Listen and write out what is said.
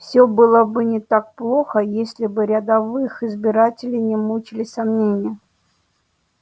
все было бы не так плохо если бы рядовых избирателей не мучили сомнения